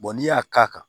n'i y'a k'a kan